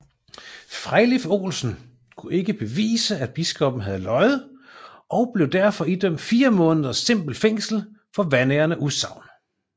Frejlif Olsen kunne ikke bevise at biskoppen havde løjet og blev derfor idømt fire måneders simpelt fængsel for vanærende udsagn